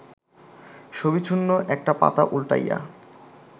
ছবিশূন্য একটা পাতা উল্টাইয়া